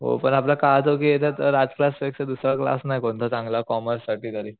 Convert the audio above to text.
हो पण आपला क्लास जो बी येयच राज क्लास सोडता दुसरा क्लास नाही कोणता चांगला कॉमर्स साठी तरी